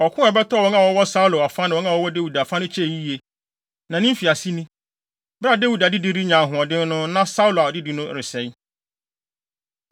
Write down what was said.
Ɔko a ɛbɛtɔɔ wɔn a wɔwɔ Saulo afa ne wɔn a wɔwɔ Dawid afa no kyɛe yiye, na ne mfiase ni. Bere a Dawid adedi renya ahoɔden no na Saulo adedi no resɛe.